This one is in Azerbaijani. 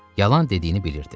Yalan dediyini bilirdi.